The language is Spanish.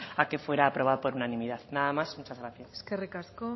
a que fuera aprobado por unanimidad nada más muchas gracias eskerrik asko